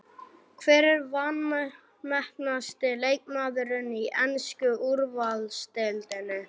Hver er vanmetnasti leikmaðurinn í ensku úrvalsdeildinni?